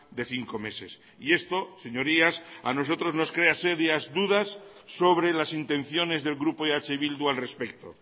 de cinco meses y esto señorías a nosotros nos crea serias dudas sobre las intenciones del grupo eh bildu al respecto